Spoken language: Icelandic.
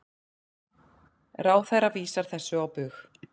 Ráðherra vísar þessu á bug.